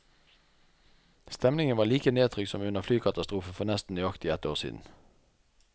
Stemningen var like nedtrykt som under flykatastrofen for nesten nøyaktig ett år siden.